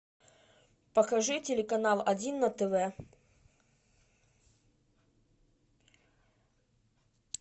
покажи телеканал один на тв